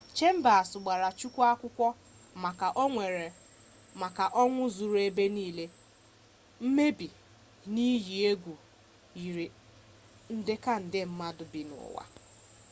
chambers gbara chukwu akwụkwọ maka ọnwụ zuru ebe niile mmebi na iyi egwu eyiri nde ka nde mmadụ bi n'ụwa